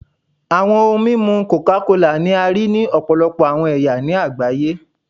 Awọn ohun mimu coca kola ni a rii ni ọpọlọpọ awọn ẹya ni agbaye